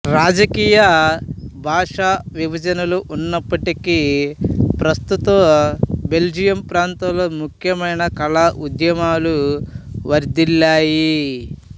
రాజకీయ భాషా విభజనలు ఉన్నప్పటికీ ప్రస్తుత బెల్జియం ప్రాంతంలో ముఖ్యమైన కళాఉద్యమాలు వర్ధిల్లాయి